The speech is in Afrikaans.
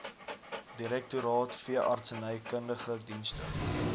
direktoraat veeartsenykundige dienste